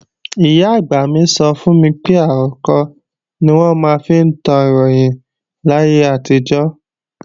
Ìyá-àgbà mi sọ fún mi pé àrokò ni wọ́n máa ń fi tán Ìròyìn láyé àtijọ́